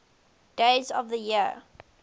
days of the year